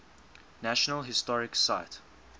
national historic site